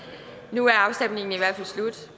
nu er afstemningen i hvert fald slut